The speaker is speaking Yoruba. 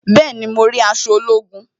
Bẹẹni, mo rí aṣọ ológun